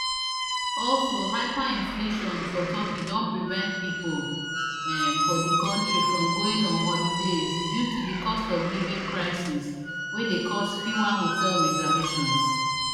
also hyperinflation for turkey don prevent pipo um for di kontri from going on holidays due to di costofliving crisis wey dey cause fewer hotel reservations